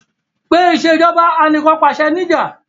Pe Ìṣèjọba Anìkànpàṣẹ ní'jà!